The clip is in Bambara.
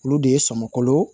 Olu de ye sɔmin